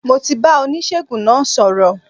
Mo ti bá oníṣègùn náà sọ̀rọ̀